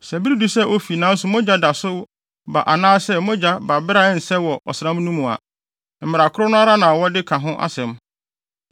“ ‘Sɛ bere du sɛ ofi nanso mogya da so ba anaasɛ mogya ba bere a ɛnsɛ mu wɔ ɔsram no mu a, mmara koro no ara na wɔde ka ho asɛm,